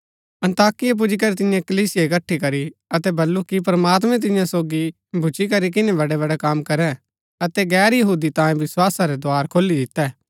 अन्ताकिया पुजीकरी तिन्ये कलीसिया इकट्ठी करी अतै बल्लू कि प्रमात्मैं तियां सोगी भूच्ची करी किनै बड़ै बड़ै कम करै अतै गैर यहूदी तांयें विस्‍वासा रै द्धार खोली दितै